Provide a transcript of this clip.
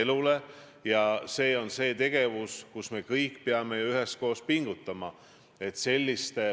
Punkt kaks on see, et tänane koalitsioon EKRE, Isamaa ja Keskerakonna vahel on minu arvates hea koalitsioon.